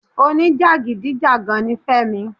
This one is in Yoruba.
Oní jàgídíjàgan ni Fẹ́mi.